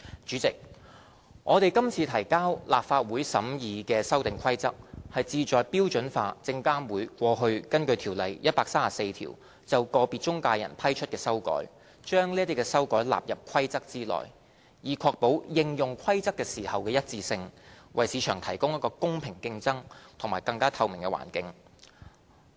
主席，我們今次提交立法會審議的《修訂規則》，旨在標準化證監會過去根據《條例》第134條就個別中介人批出的修改，把這些修改納入《規則》中，以確保應用《規則》時的一致性，為市場提供一個公平競爭及更加透明的環境。